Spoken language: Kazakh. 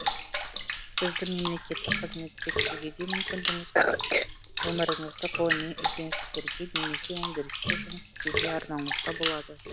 сіздің мемлекеттік қызметке түсуге де мүмкіндігіңіз бар өміріңізді ғылыми ізденістерге немесе өндірісте жұмыс істеуге арнауыңызға болады